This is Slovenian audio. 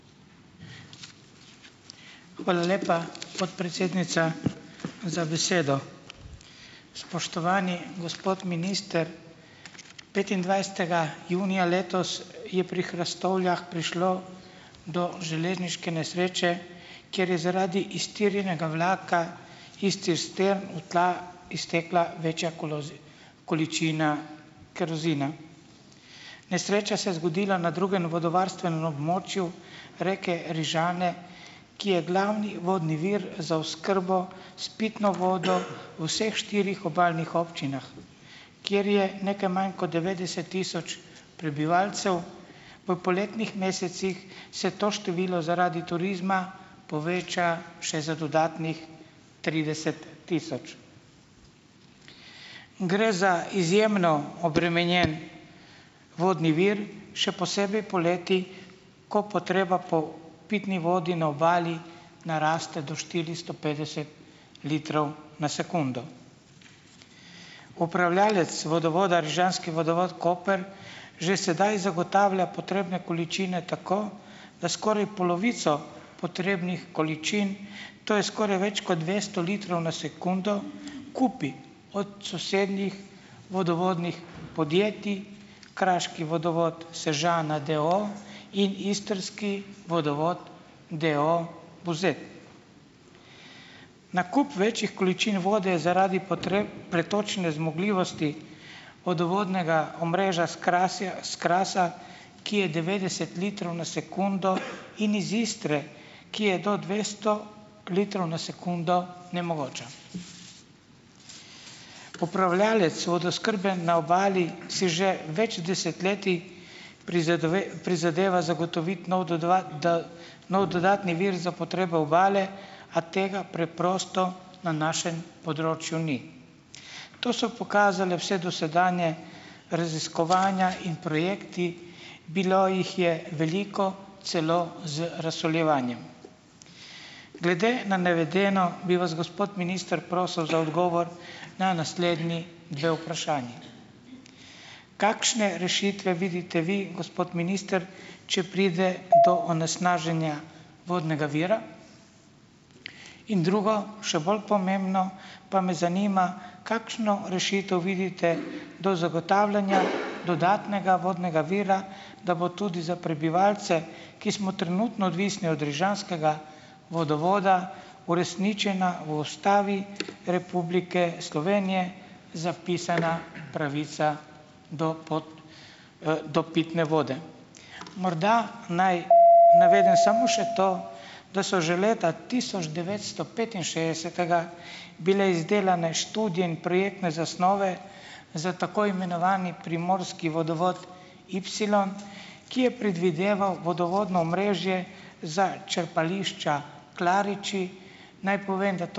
Hvala lepa, podpredsednica za besedo. Spoštovani gospod minister. Petindvajsetega junija letos je pri Hrastovljah prišlo do železniške nesreče, kjer je zaradi iztirjenega vlaka iz cistern v tla iztekla večja količina kerozina. Nesreča se je zgodila na drugem vodovarstvenem območju reke Rižane, ki je glavni vodni vir za oskrbo s pitno vodo v vseh štirih obalnih občinah, kjer je nekaj manj kot devetdeset tisoč prebivalcev. V poletnih mesecih se to število zaradi turizma poveča še za dodatnih trideset tisoč. Gre za izjemno obremenjen vodni vir, še posebej poleti, ko potreba po pitni vodi na Obali naraste do štiristo petdeset litrov na sekundo. Upravljavec vodovoda, Rižanski vodovod Koper, že sedaj zagotavlja potrebne količine tako, da skoraj polovico potrebnih količin, to je skoraj več kot dvesto litrov na sekundo, kupi od sosednjih vodovodnih podjetij, Kraški vodovod Sežana d. o. o. in Istrski vodovod d. o. o. Buzet. Nakup večjih količin vode zaradi potreb pretočne zmogljivosti vodovodnega omrežja s s Krasa, ki je devetdeset litrov na sekundo, in iz Istre, ki je do dvesto litrov na sekundo, nemogoča. Upravljavec vodooskrbe na Obali si že več desetletij prizadeva zagotoviti nov do dva nov dodatni vir za potrebo Obale, a tega preprosto na našem področju ni. To so pokazale vsa dosedanja raziskovanja in projekti, bilo jih je veliko, celo z razsoljevanjem. Glede na navedeno bi vas, gospod minister, prosila za odgovor na naslednji dve vprašanji . Kakšne rešitve vidite vi, gospod minister, če pride do onesnaženja vodnega vira? In drugo, še bolj pomembno, pa me zanima, kakšno rešitev vidite do zagotavljanja dodatnega vodnega vira, da bo tudi za prebivalce, ki smo trenutno odvisni od rižanskega vodovoda, uresničena v Ustavi Republike Slovenije zapisana pravica do do pitne vode. Morda naj navedem samo še to, da so že leta tisoč devetsto petinšestdesetega bile izdelane študije in projektne zasnove za tako imenovani primorski vodovod Ipsilon, ki je predvideval vodovodno omrežje za črpališča Klariči. Naj povem, da to ...